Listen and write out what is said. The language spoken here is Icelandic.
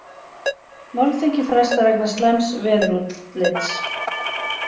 Málþingi frestað vegna slæms veðurútlits